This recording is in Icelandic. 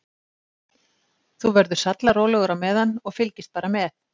Þú verður sallarólegur á meðan og fylgist bara með.